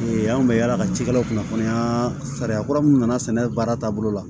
anw bɛ yaala ka cikɛlaw kunnafoniya sariya kura mun nana sɛnɛ baara taabolo la